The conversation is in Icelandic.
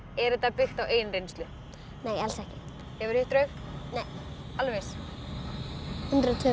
er þetta byggt á eigin reynslu nei alls ekki hefurðu hitt draug nei alveg viss hundrað og tvö